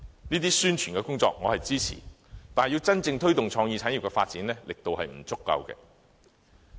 這些宣傳工作我是支持的，但要真正推動創意產業發展，其力度仍然不足。